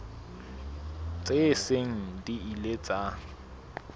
tse seng di ile tsa